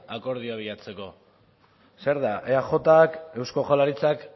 akordioa bilatzeko zer da eajk eusko jaurlaritzak